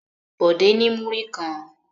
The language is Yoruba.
Bọ̀dé ní múrí kan.